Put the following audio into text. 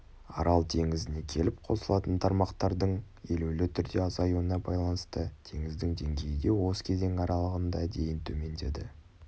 арал теңізіне келіп қосылатын тармақтардың елеулі түрде азаюына байланысты теңіздің деңгейі де осы кезең аралығында дейін төмендеді